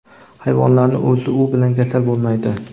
hayvonlarning o‘zi u bilan kasal bo‘lmaydi.